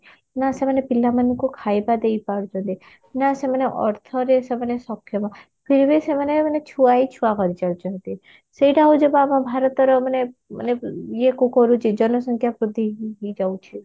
ନା ସେମାନେ ପିଲାମାନଙ୍କୁ ଖାଇବା ଦେଇପାରୁଛନ୍ତି ନା ସେମାନେ ଅର୍ଥରେ ସେମାନେ ସକ୍ଷମ फिर भी ସେମାନେ ମାନେ ଛୁଆ ହି ଛୁଆ କରିଚାଲିଛନ୍ତି ସେଇଟା ହଉଛି ବା ଆମ ଭାରତର ମାନେ ମାନେ ଇଏ କୁ କରୁଛି ଜନସଂଖ୍ୟା ବୃଦ୍ଧି ହେଇଯାଉଛି